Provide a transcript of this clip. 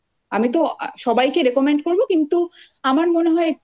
আমি তো সবাইকে recommend করব কিন্তু আমার মনে হয় একটু